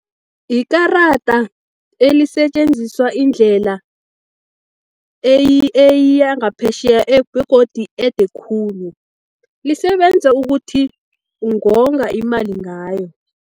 Ikarada elisetjenziswa indlela eyangaphetjheya, begodi ede khulu, lisebenza ukuthi ungonga imali ngayo.